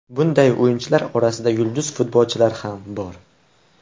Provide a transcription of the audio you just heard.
Bunday o‘yinchilar orasida yulduz futbolchilar ham bor.